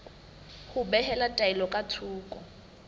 ho behela taelo ka thoko